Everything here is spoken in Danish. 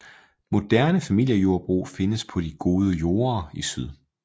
Moderne familiejordbrug findes på de gode jorder i syd